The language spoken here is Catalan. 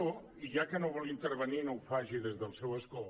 i ja que no vol intervenir no ho faci des del seu escó